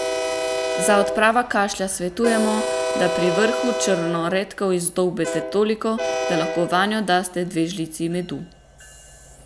Za odpravo kašlja svetujemo, da pri vrhu črno redkev izdolbete toliko, da lahko vanjo daste dve žlici medu.